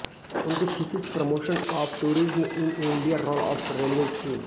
उनकी thesis promotion of tourism in India role of railways थी